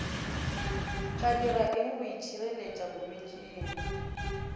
ka diraeng go itšhireletša bolwetšing